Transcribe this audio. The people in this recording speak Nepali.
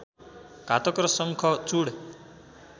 घातक र शङ्खचूड